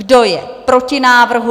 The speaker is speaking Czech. Kdo je proti návrhu?